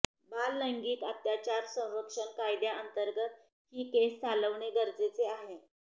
बाल लैंगीक आत्याचार संरक्षण कायद्या अंतर्गत ही केस चालवणे गरजेचे होते